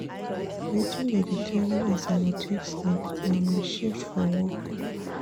Wetin dey determine as I go take sleep na my shift for work.